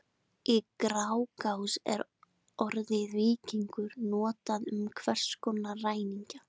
Í Grágás er orðið víkingur notað um hvers konar ræningja.